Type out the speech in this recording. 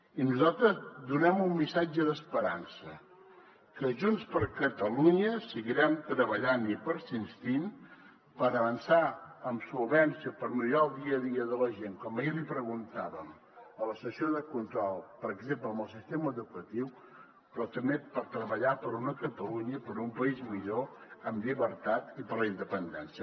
i nosaltres donem un missatge d’esperança que junts per catalunya seguirem treballant i persistint per avançar amb solvència per millorar el dia a dia de la gent com ahir li preguntàvem a la sessió de control per exemple amb el sistema educatiu però també per treballar per una catalunya per un país millor amb llibertat i per a la independència